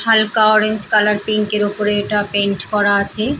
হালকা orange colour pink -এর উপরে এটা পেইন্ট করা আছে ।